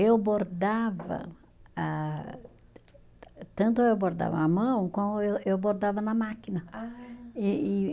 Eu bordava a, tanto eu bordava à mão, como eu eu bordava na máquina. Ah! E e